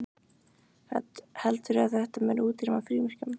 Hödd: Heldurðu að þetta muni útrýma frímerkjum?